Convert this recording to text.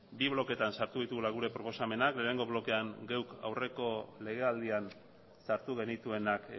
bi bloketan sartu ditugula gure proposamenak lehenengo blokean guk aurreko legealdian sartu genituenak